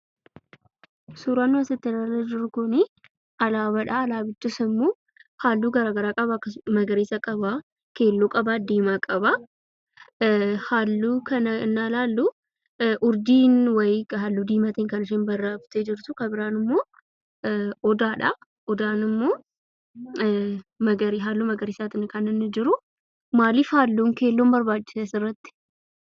Suuraan asitti nuti ilaalaa jirru kun alaabaadha. Alaabichis immoo halluu garaagaraa qaba magariisa qaba keelloo qaba, diimaa qaba. Halluu kana hennaa ilaallu urjiin wayii kan halluu diimaatiin barroofte jirti kan biraan immoo odaadha. Odaan immoo halluu magariisaan kan inni jiru. Maaliif halluun keelloon barbaachise asirratti?